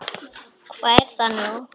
Hvað er það nú?